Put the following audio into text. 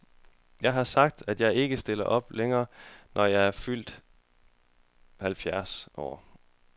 Jeg har sagt, at jeg ikke stiller op længere, når jeg er fyldt halvfjerds år.